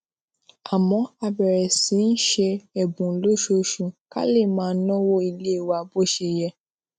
àmó a bèrè sí í ṣe èbùn lóṣooṣù ká lè máa náwó ilé wa bó ṣe yẹ